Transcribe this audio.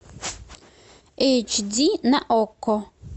эйч ди на окко